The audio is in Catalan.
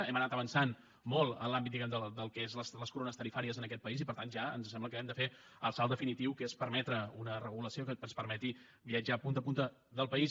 hem anat avançant molt en l’àmbit diguem ne del que són les corones tarifàries en aquest país i per tant ja ens sembla que hem de fer el salt definitiu que és permetre una regulació que ens permeti viatjar de punta a punta del país